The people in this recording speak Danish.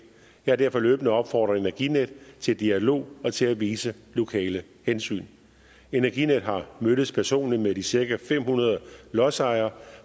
jeg har derfor løbende opfordret energinet til dialog og til at vise lokale hensyn energinet har mødtes personligt med de cirka fem hundrede lodsejere